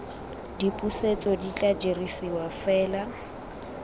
dipusetso di tla dirisiwa fela